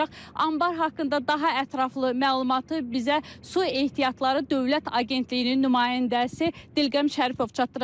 Anbar haqqında daha ətraflı məlumatı bizə Su Ehtiyatları Dövlət Agentliyinin nümayəndəsi Dilqəm Şərifov çatdıracaq.